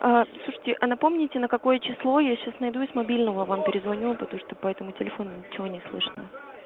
а слушайте напомните на какое число я сейчас найду и с мобильного вам перезвоню потому что по этому телефону ничего не слышно